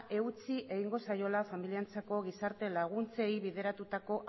eutsi egingo zaiola familientzako gizarte laguntzei bideratutako